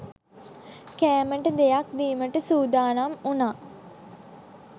කෑමට දෙයක් දීමට සූදානම් වුණා